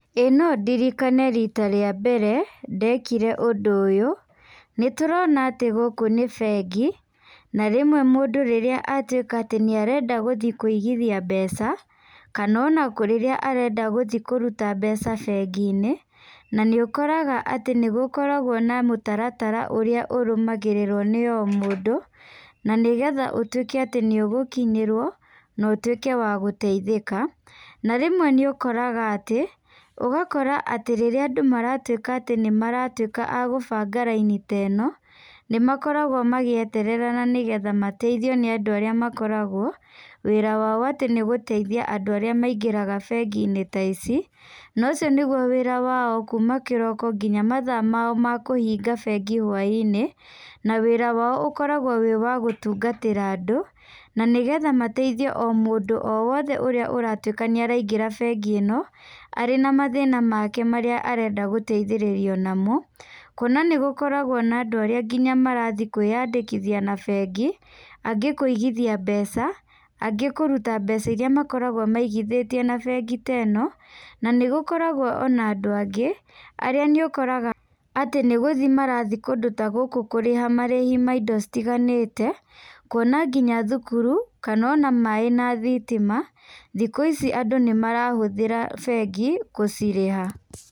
Ĩĩ no ndirikane rita rĩa mbere ndekire ũndũ ũyũ, nĩ tũrona atĩ gũkũ nĩ bengi. Na rĩmwe mũndũ rĩrĩa atuĩka atĩ nĩarenda gũthi kũigithia mbeca, kana ona rĩrĩa arenda gũthi kũruta mbeca bengi-nĩ, na nĩ ukoraga atĩ nĩ gũkoragwo na mũtaratara ũrĩa ũrũmagĩrĩrwo nĩ o mũndũ, na nĩgetha ũtuĩke atĩ nĩ ũgũkinyĩrwo na ũtuĩke wa gũteithĩka. Na rĩmwe nĩ ũkoraga atĩ, ũgakora atĩ rĩrĩa andũ maratuĩka atĩ nĩ maratuĩka a gũbanaga raini teno, nĩmakoragwo magĩeterera na nĩgetha mateithio nĩ andũ arĩa makoragwo, wĩra wao atĩ nĩgũteithia andũ arĩa maingĩraga bengi-nĩ ta ici. Nocio nĩguo wĩra wao kuma kĩroko nginya mathaa mao ma kũhinga bengi hwai-nĩ na wĩra wao ũkoragwo wĩ wa gũtungatĩra andũ, na nĩgetha mateithie o mũndũ o wothe ũrĩa ũratuĩka nĩaraingĩra bengi ĩno, arĩ na mathĩna make marĩa arenda gũteithĩrĩrio namo. Kuona nĩ gũkoragwo na andũ arĩa nginya marathi kwĩandĩkithia na bengi, angĩ kũigithia mbeca, angĩ kũruta mbeca iria makoragwo maigithĩtie na bengi teno. Na nĩ gũkoragwo ona andũ angĩ, arĩa nĩ ũkoraga atĩ nĩguthi marathi kũndũ ta gũkũ kũrĩha marĩhi ma indo citiganĩte. Kuona nginya thukuru, kana ona maĩ na thitima, thiku ici andũ nĩ marahũthĩra bengi gũcirĩha.